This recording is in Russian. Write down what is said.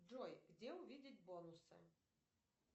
джой где увидеть бонусы